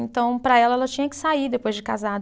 Então, para ela, ela tinha que sair depois de casado.